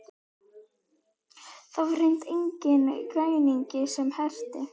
Og það var hreint enginn græningi sem hreppti.